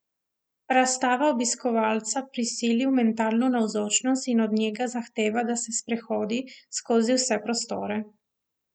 Razstava obiskovalca prisili v mentalno navzočnost in od njega zahteva, da se sprehodi skozi vse prostore.